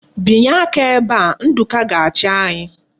Binye aka ebe a! Nduka ga-achi anyi.